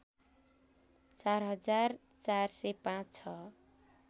४ हजार ४०५ छ